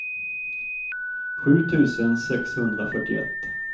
sju tusen sexhundrafyrtioett